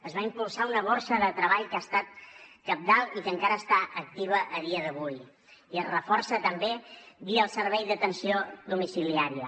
es va impulsar una borsa de treball que ha estat cabdal i que encara està activa a dia d’avui i es reforça també via el servei d’atenció domiciliària